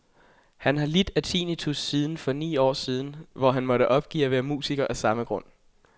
Han har lidt af tinnitus siden for ni år siden, hvor han måtte opgive at være musiker af samme grund.